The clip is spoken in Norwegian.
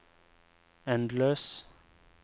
endeløs